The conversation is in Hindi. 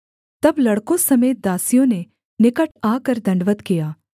तब लड़कों समेत दासियों ने निकट आकर दण्डवत् किया